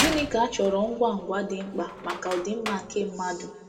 Gịnị ka a chọrọ ngwa ngwa dị mkpa maka ọdịmma nke mmadụ?